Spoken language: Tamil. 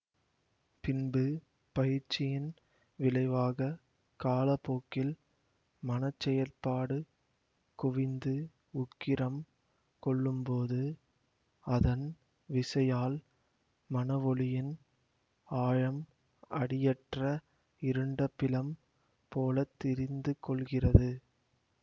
பின்பு பயிற்சியின் விளைவாக காலப்போக்கில் மனச்செயல்பாடு குவிந்து உக்கிரம் கொள்ளும்போது அதன் விசையால் மனவொளியின் ஆழம் அடியற்ற இருண்ட பிலம் போல திறிந்துகொள்கிறது